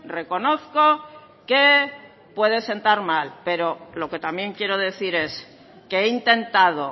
reconozco que puede sentar mal pero lo que también quiero decir es que he intentado